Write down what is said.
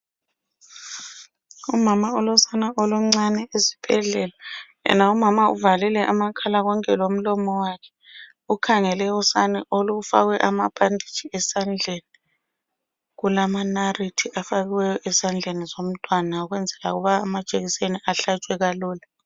Umama olosane oluncane esibhedlela , yena umama uvalile amakhala konke lomlomo wakhe ukhangele usane olufakwe amabhanditshi esandleni kulamanarithi afakiweyo esandleni zomntwana ukwenzela ukuba amajekiseni ahlatshwe kalula.